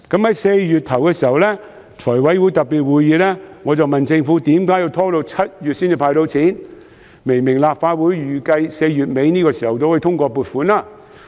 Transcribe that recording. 在4月初的財務委員會特別會議上，我問政府為何要拖到7月才接受"派錢"申請，明明立法會預計4月底左右通過撥款。